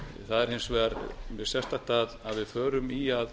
það var hins vegar mjög sérstakt að við förum í að